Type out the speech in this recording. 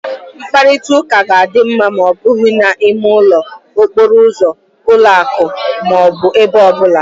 Mkparịta ụka ga-adị ma ọ bụghị na ime ụlọ, okporo ụzọ, ụlọ ụka ọ bụrụ ebe ọ bụla